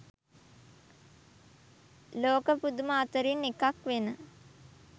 ලෝක පුදුම අතරින් එකක්වෙන